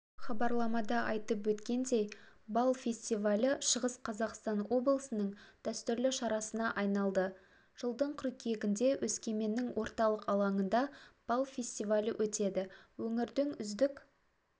хабарламада айтып өткендей бал фестивалі шығыс қазақстан облысының дәстүрлі шарасына айналды жылдың қыркүйегінде өскеменнің орталық алаңында бал фестивалі өтеді өңірдің үздік